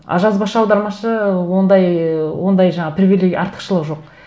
а жазбаша аудармашы ондай ы ондай жаңағы привилегия артықшылығы жоқ